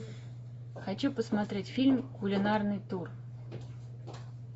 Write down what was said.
хочу посмотреть фильм кулинарный тур